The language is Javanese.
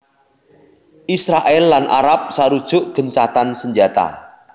Israèl lan Arab sarujuk gencatan senjata